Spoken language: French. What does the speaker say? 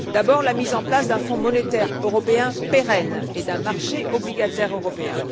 D'abord, la mise en place d'un Fonds monétaire européen pérenne et d'un marché obligataire européen.